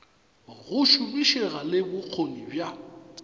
go šomišega le bokgoni bja